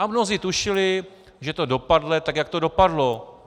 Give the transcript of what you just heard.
A mnozí tušili, že to dopadne tak, jak to dopadlo.